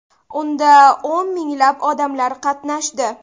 Unda o‘n minglab odamlar qatnashdi.